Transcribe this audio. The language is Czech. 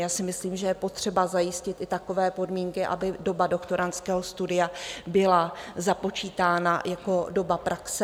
Já si myslím, že je potřeba zajistit i takové podmínky, aby doba doktorandského studia byla započítána jako doba praxe.